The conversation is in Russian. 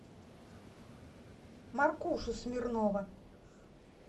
маркушу смирнова